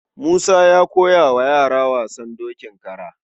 Musa ya koya wa yara wasan dokin kara.